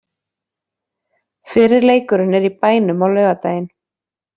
Fyrri leikurinn er í bænum á laugardaginn.